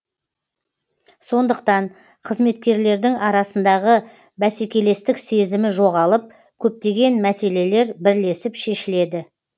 сондықтан қызметкерлердің арасындағы бәсекелестік сезімі жоғалып көптеген мәселелер бірлесіп шешіледі